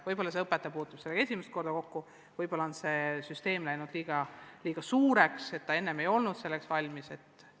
Võib-olla konkreetne õpetaja puutub selle meetodiga esimest korda kokku, võib-olla on süsteem läinud liiga suureks, võib-olla kool ei ole selleks valmis?